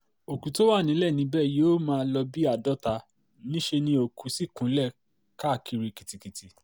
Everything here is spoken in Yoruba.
òkú tó wà nílẹ̀ níbẹ̀ yóò máa lò bíi àádọ́ta níṣẹ́ ni òkú sì kúnlẹ̀ káàkiri kìtìkìtì